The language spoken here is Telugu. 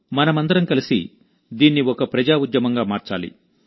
మనమందరం కలిసి దీన్ని ఒక ప్రజా ఉద్యమంగా మార్చాలి